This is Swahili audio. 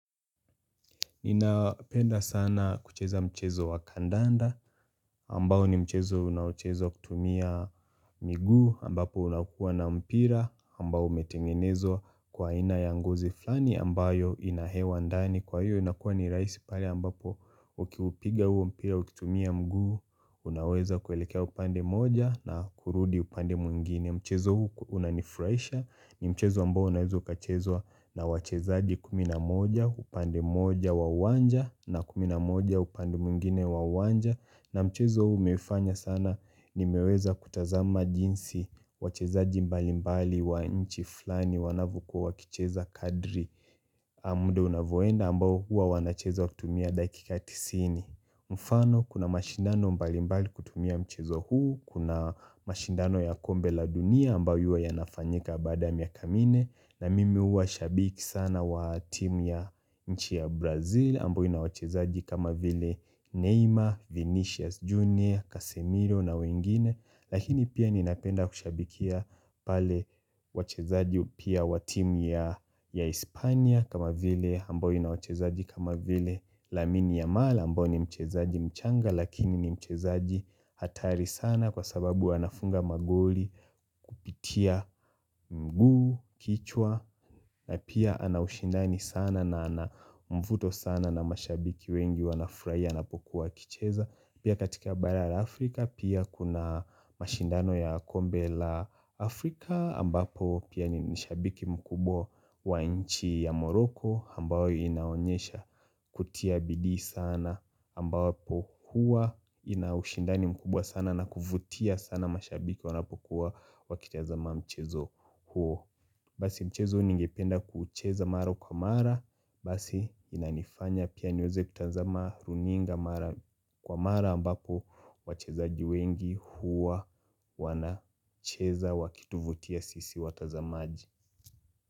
Ninapenda sana kucheza mchezo wa kandanda ambao ni mchezo unaochezwa kutumia miguu ambapo unakuwa na mpira ambao umetengenezwa kwa aina ya ngozi flani ambayo ina hewa ndani kwa hiyo inakuwa ni rahisi pale ambapo ukiupiga huo mpira ukitumia mguu unaweza kuelekea upande moja na kurudi upande mwingine. Mchezo huu unanifraisha ni mchezo ambao unaweza ukachezwa na wachezaji kumi na moja upande moja wa uwanja na kumi na moja upande mwigine wa uwanja. Na mchezo huu umefanya sana nimeweza kutazama jinsi wachezaji mbalimbali wa inchi flani wanavyokuwa wakicheza kadri mda unavyoenda ambao huwa wanacheza kutumia dakika tisini. Mfano kuna mashindano mbalimbali kutumia mchezo huu, Kuna mashindano ya kombe la dunia ambao huwa yanafanyika baada ya miaka minne. Na mimi uwa shabiki sana wa team ya nchi ya Brazil, ambayo ina wachezaji kama vile Neymar, Vinicius Junior, Casemiro na wengine, lakini pia ninapenda kushabikia pale wachezaji pia wa team ya Hispania kama vile ambao ina wachezaji kama vile lamini ya mala ambao ni mchezaji mchanga lakini ni mchezaji hatari sana kwa sababu anafunga magoli kupitia mguu, kichwa na pia ana ushindani sana na mvuto sana na mashabiki wengi wanafurahia anapokuwa akicheza pia katika bala la Afrika pia kuna mashindano ya kombe la Afrika ambapo pia ni shabiki mkubwa wa nchi ya moroko ambayo inaonyesha kutia bidii sana ambapo huwa ina ushindani mkubwa sana na kuvutia sana mashabiki wanapokuwa wakitazama mchezo huo basi mchezo ningependa kucheza mara kwa mara basi inanifanya pia niweze kutazama runinga mara kwa mara ambapo wachezaji wengi huwa wanacheza wakituvutia sisi watazamaji.